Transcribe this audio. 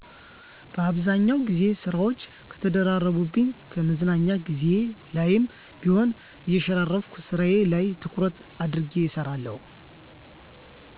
በአብዛኛው ግዜ ስራወች ከተደራረቡብኝ ከመዝናኛ ግዜየ ላይም ቢሆን እየሸራረፍኩ ስራየ ላይ ትኩረት አድርጌ እሰራለሁ።